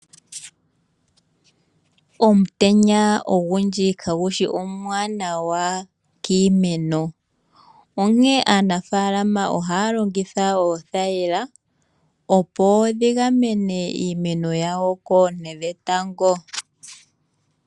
Omutenya ogundji kagushi omwaanawa kiimeno, onkee aanafalama ohaalongitha oothayila opo dhi gamene iimeno yawo koonte dhetango.